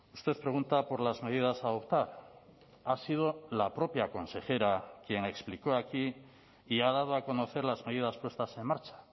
usted pregunta por las medidas a adoptar ha sido la propia consejera quien explicó aquí y ha dado a conocer las medidas puestas en marcha